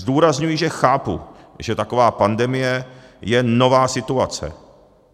Zdůrazňuji, že chápu, že taková pandemie je nová situace.